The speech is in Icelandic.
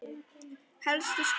Helstu skor